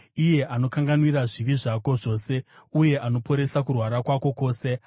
iye anokanganwira zvivi zvako zvose, uye anoporesa kurwara kwako kwose,